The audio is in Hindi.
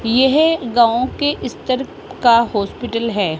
यह एक गांव के इस तरफ का हॉस्पिटल है।